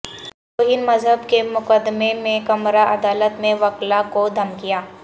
توہین مذہب کے مقدمے میں کمرہ عدالت میں وکلا کو دھمکیاں